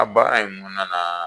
A baara in kɔnɔ